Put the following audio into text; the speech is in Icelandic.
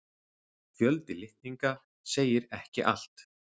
Fjöldi litninga segir ekki allt.